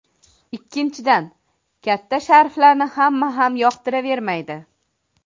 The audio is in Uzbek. Ikkinchidan, katta sharflarni hamma ham yoqtiravermaydi.